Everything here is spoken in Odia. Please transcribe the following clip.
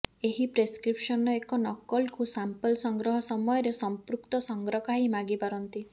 ଏହି ପ୍ରେସ୍କ୍ରିପ୍ସନର ଏକ ନକଲକୁ ସାମ୍ପଲ୍ ସଂଗ୍ରହ ସମୟରେ ସମ୍ପୃକ୍ତ ସଂଗ୍ରକାହୀ ମାଗିପାରନ୍ତି